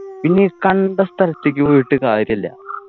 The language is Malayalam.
പിന്നെ ഈ കണ്ട സ്ഥലത്തേക്ക് പോയിട്ട് കാര്യല്ല